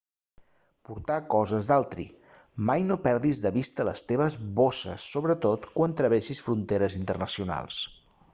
portar coses d'altri mai no perdis de vista les teves bosses sobretot quan travessis fronteres internacionals